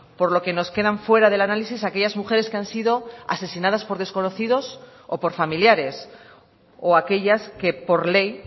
por lo que nos quedan fuera del análisis aquellas mujeres que han sido asesinadas por desconocidos o por familiares o aquellas que por ley